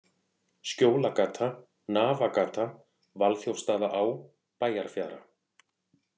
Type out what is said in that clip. Skjólagata, Nafagata, Valþjófsstaðaá, Bæjarfjara